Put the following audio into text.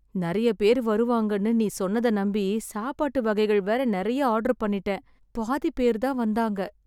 நெறைய பேர் வருவாங்கன்னு நீ சொன்னத நம்பி, சாப்பாட்டு வகைகள் வேற நெறைய ஆர்டர் பண்ணிட்டேன். பாதிப் பேர்தான் வந்தாங்க